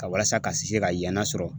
Ka walasa ka se ka yan la sɔrɔ